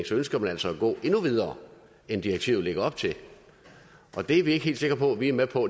så ønsker man altså at gå endnu videre end direktivet lægger op til det er vi ikke helt sikre på at vi er med på